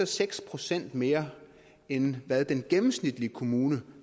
seks procent mere end hvad den gennemsnitlige kommune